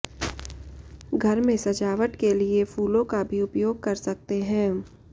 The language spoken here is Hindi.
घर में सजावट के लिए फूलों का भी उपयोग कर सकते हैं